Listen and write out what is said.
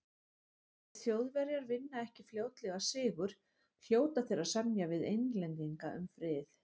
Ef Þjóðverjar vinna ekki fljótlega sigur, hljóta þeir að semja við Englendinga um frið.